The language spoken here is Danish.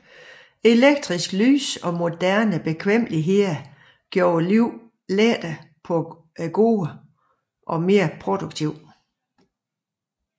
Elektrisk lys og moderne bekvemmeligheder gjorde livet lettere og gårdene mere produktive